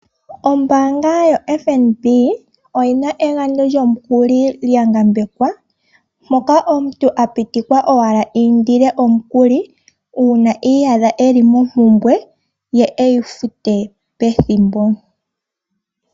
Ombaanga yo FNB oyina egandjo lyomukuli lya ngambekwa moka omuntu a pitikwa owala a indile omukuli uuna ti iyadha eli mompumbwe ye eyifute pethimbo .